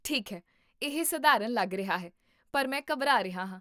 ਠੀਕ ਹੈ, ਇਹ ਸਧਾਰਨ ਲੱਗ ਰਿਹਾ ਹੈ ਪਰ ਮੈਂ ਘਬਰਾ ਰਿਹਾ ਹਾਂ